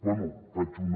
bé faig una